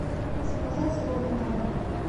заказать роллы на дом